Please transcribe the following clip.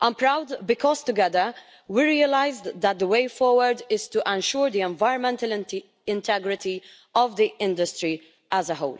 I am proud because together we realised that the way forward is to ensure the environmental integrity of the industry as a whole.